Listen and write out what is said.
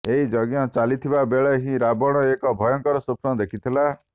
ଏହି ଯଜ୍ଞ ଚାଲିଥିବା ବେଳେ ହିଁ ରାବଣ ଏକ ଭୟଙ୍କର ସ୍ୱପ୍ନ ଦେଖିଥିଲା